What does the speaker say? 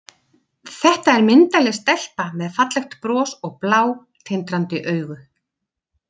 Þetta er myndarleg stelpa með fallegt bros og blá, tindrandi augu.